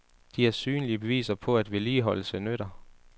De er synlige beviser på, at vedligeholdelse nytter.